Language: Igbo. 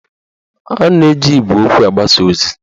A na-eji igwe okwu agbasa ozi